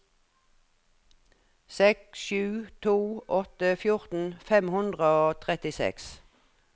seks sju to åtte fjorten fem hundre og trettiseks